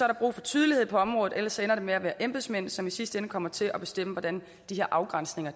der brug for tydelighed på området ellers ender det med at være embedsmænd som i sidste ende kommer til at bestemme hvordan de her afgrænsninger